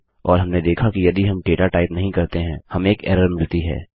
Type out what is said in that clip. और हमने देखा कि यदि हम डेटा टाइप नहीं करते हैं हमें एक एरर मिलती है